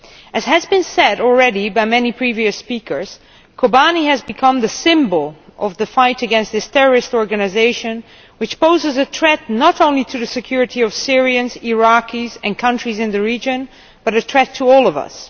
As has been said already by many previous speakers, Kobane has become the symbol of the fight against this terrorist organisation, which poses a threat not only to the security of Syrians, Iraqis and countries in the region, but a threat to all of us.